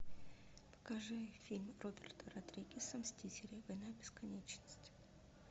покажи фильм роберта родригеса мстители война бесконечности